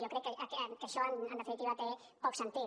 jo crec que això en definitiva té poc sentit